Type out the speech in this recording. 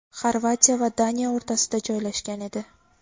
Xorvatiya va Daniya o‘rtasida joylashgan edi.